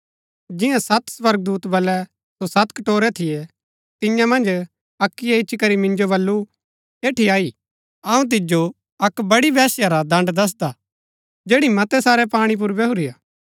जिन्या सत स्वर्गदूता बलै सो सत कटोरै थियै तियां मन्ज अक्कीयै इच्ची करी मिन्जो बल्लू एठी अई अऊँ तिजो अक्क बड़ी वेश्या रा दण्ड दसदा जैड़ी मतै सारै पाणी पुर बैहुरी हा